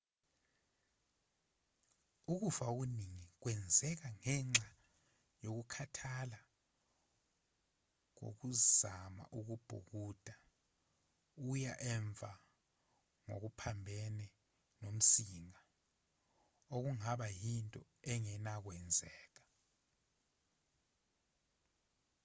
ukufa okuningi kwenzeka ngenxa yokukhathala kokuzama ukubhukuda uya emuva ngokuphambene nomsinga okungaba yinto engenakwenzeka